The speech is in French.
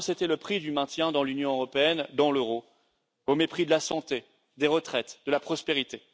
Parce que c'était le prix du maintien dans l'Union européenne et dans l'euro, au mépris de la santé, des retraites et de la prospérité.